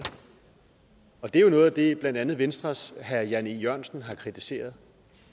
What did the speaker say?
det er jo noget af det som blandt andet venstres herre jan e jørgensen har kritiseret